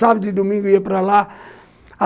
Sábado e domingo eu ia para lá.